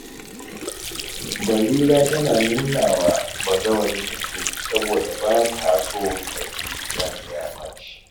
Barira tana nuna wa bazawarinta so, saboda ba ta so ta ji ransa ya ɓaci.